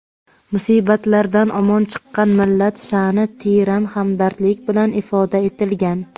musibatlardan omon chiqqan millat shaʼni teran hamdardlik bilan ifoda etilgan.